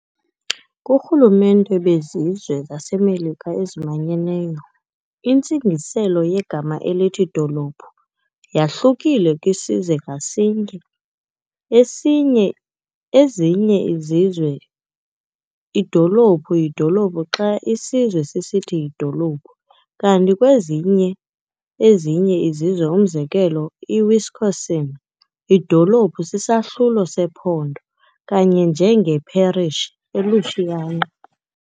KuRhulumente bezizwe zaseMelika ezimanyeneyo, intsingiselo yegama elithi 'dolophu' yahlukile kwisizwe ngasinye, esinye ezinye izizwe, idolophu yidolophu xa isizwe sisithi yidolophu. Kanti kwezinye ezinye izizwe, umzekelo, iWisconsin, idolophu sisahlulo sePhondo, "kanye njenge "parish" eLouisiana.